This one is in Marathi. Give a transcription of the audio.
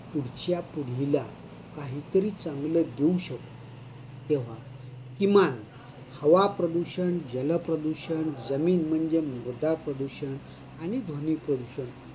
पुढच्या पिढीला काहीतरी चांगल देऊ शकू तेव्हा किमान हवाप्रदूषण, जलप्रदूषण, जमीन म्हणजे मृदाप्रदूषण आणि ध्वनिप्रदूषण